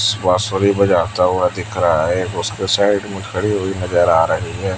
बांसुरी बजाता हुआ दिख रहा है उसके साइड में खड़ी हुई नजर आ रही है।